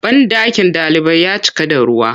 Banɗakin ɗalibai ya cika da ruwa.